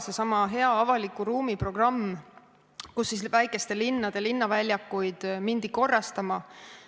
Seesama hea avaliku ruumi programm, kui väikeste linnade linnaväljakuid hakati korrastama.